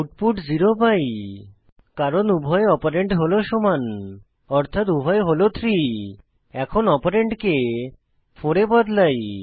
output 0 পাই কারণ উভয় অপারেন্ড হল সমান অর্থাত উভয় হল 3 এখন অপারেন্ডকে 4 এ বদলাই